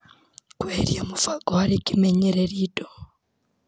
Kũeheria mũbango harĩ kĩmenyereri indo.